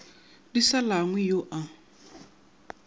di sa langwe yo a